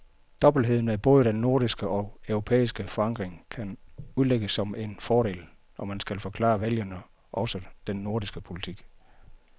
Dobbeltheden med både den nordiske og europæiske forankring kan udlægges som en fordel, når vi skal forklare vælgerne også den nordiske politik.